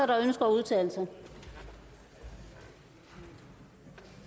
der ønsker at udtale sig det